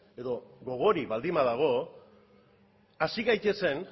edo gogorik baldin badago hasi gaitezen